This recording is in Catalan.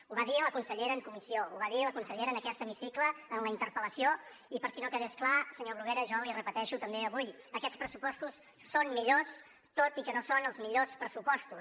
ho va dir la consellera en comissió ho va dir la consellera en aquest hemicicle en la interpel·lació i per si no quedés clar senyor bruguera jo l’hi repeteixo també avui aquests pressupostos són millors tot i que no són els millors pressupostos